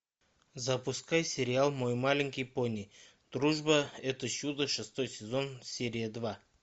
запускай сериал мой маленький пони дружба это чудо шестой сезон серия два